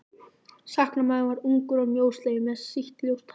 Sakamaðurinn var ungur og mjósleginn með sítt ljóst hár.